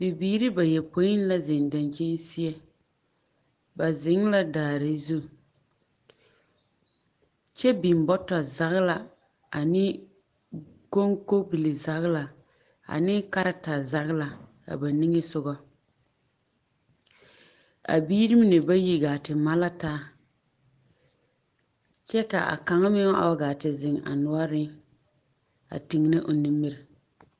Bibiiri bayopoi la zeŋ daŋkyin seԑ. ba zeŋ la daare zu kyԑ biŋ bͻtͻzagela ane o koŋkobili-zagelaa ame kareta zagela a ba niŋe sogͻ. A biiri mine ba yi gaa te ma la taa kyԑ ka a kaŋa meŋ a waa gaa te zeŋ a noͻreŋ a tegenԑ o nimiri.